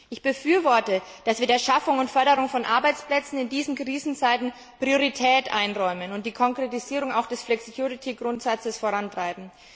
Ich befürworte, dass wir der Schaffung und Förderung von Arbeitsplätzen in diesen Krisenzeiten Priorität einräumen und auch die Konkretisierung des Flexicurity Grundsatzes vorantreiben.